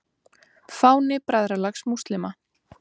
Fáni Bræðralags múslíma.